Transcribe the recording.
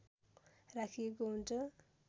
राखिएको हुन्छ